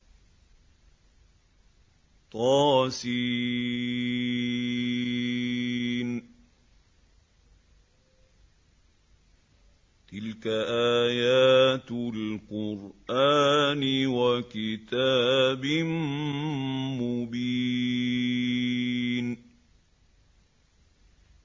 طس ۚ تِلْكَ آيَاتُ الْقُرْآنِ وَكِتَابٍ مُّبِينٍ